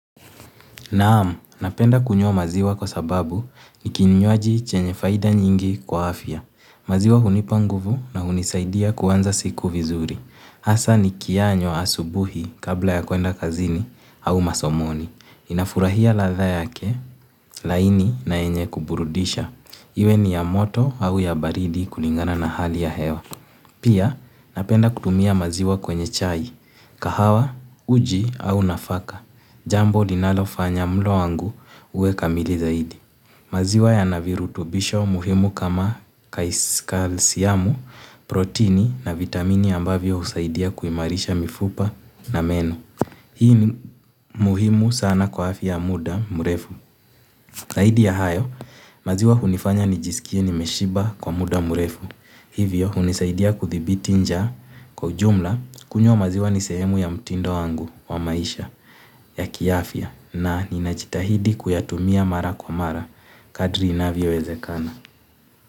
Naam, napenda kunywa maziwa kwa sababu ni kinywaji chenye faida nyingi kwa afya. Maziwa hunipa nguvu na hunisaidia kuanza siku vizuri. Hasa ni kiyanywa asubuhi kabla ya kuenda kazini au masomoni. Inafurahia ladha yake, laini na yenye kuburudisha. Iwe ni ya moto au ya baridi kulingana na hali ya hewa. Pia, napenda kutumia maziwa kwenye chai. Kahawa, uji au nafaka. Jambo linalofanya mlo wangu uwe kamili zaidi. Maziwa yana virutubisho muhimu kama kais kalsyamu, protini na vitamini ambavyo husaidia kuimarisha mifupa na meno. Hii ni muhimu sana kwa afya ya muda mrefu. Zaidi ya hayo, maziwa hunifanya nijisikie nimeshiba kwa muda mrefu. Hivyo hunisaidia kudhibiti nja kwa jumla kunywa maziwa ni sehemu ya mtindo wangu wa maisha ya kiafya. Na ninajitahidi kuyatumia mara kwa mara kadri inavyowezekana.